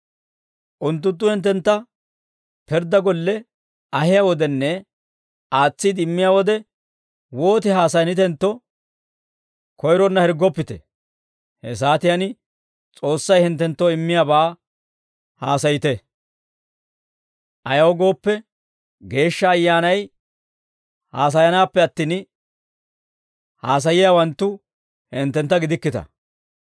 Unttunttu hinttentta pirddaa golle ahiyaa wodenne aatsiide immiyaa wode, wooti haasayanitentto koyronna hirggoppite; he saatiyaan S'oossay hinttenttoo immiyaabaa haasayite. Ayaw gooppe, Geeshsha Ayyaanay haasayanaappe attin, haasayiyaawanttu hinttentta gidikkita.